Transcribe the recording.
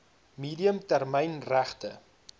medium termyn regte